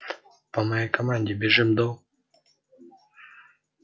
по моей команде бежим до